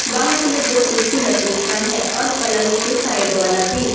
बाहर में दो कुर्सी लकड़ी का है और पलंग के साइड वाला भी।